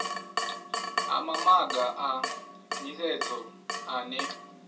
ha mamaga a nisedzo ane